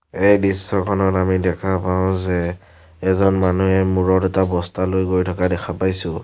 এই দৃশ্যখনত আমি দেখা পাওঁ যে এজন মানু্হে মূৰত এটা বস্তা লৈ গৈ থকা দেখা পাইছোঁ।